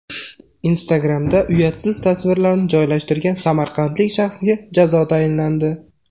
Instagram’da uyatsiz tasvirlarni joylashtirgan samarqandlik shaxsga jazo tayinlandi.